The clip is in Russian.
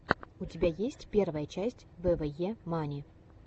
у тебя есть первая часть вве мании